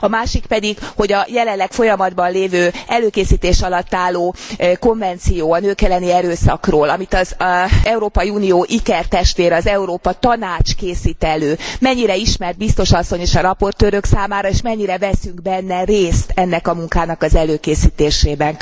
A másik, pedig, hogy a jelenleg folyamatban lévő, előkészítés alatt álló konvenció a nők elleni erőszakról, amit az Európai Unió ikertestvére az Európa Tanács készít elő, mennyire ismert Biztos asszony és a raportőrök számára, és mennyire veszünk részt ennek a munkának az előkészítésében.